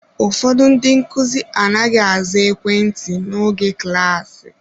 Ụfọdụ ndị nkuzi anaghị aza ekwentị n'oge klasi.